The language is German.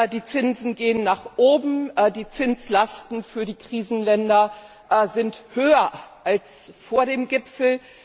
Die Zinsen gehen nach oben, die Zinslasten für die Krisenländer sind höher als vor dem Gipfel.